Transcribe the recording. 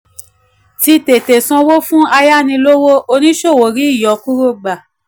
tí tètè sanwó fún ayánilówó oníṣòwò rí ìyọkúrò gbà.